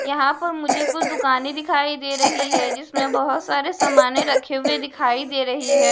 यहां पर मुझे कुछ दुकानें दिखाई दे रही है जिसमें बहुत सारे सामान रखे हुए दिखाई दे रही है।